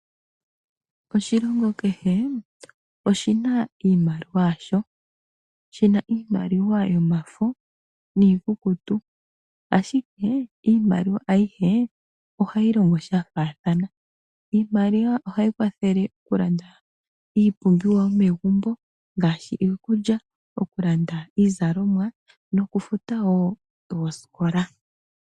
Oshilongo kehe oshina iimaliwa yasho. Oshina iimaliwa yomafo niikukutu, ashike iimaliwa ayihe ohayi longo sha faathana. Iimaliwa ohayi kwathele okulanda iipumbiwa yomegumbo, ngaashi; iikulya, Iizalomwa noshowo okufuta oosikola.